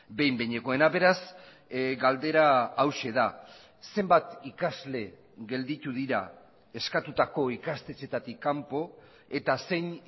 behin behinekoena beraz galdera hauxe da zenbat ikasle gelditu dira eskatutako ikastetxeetatik kanpo eta zein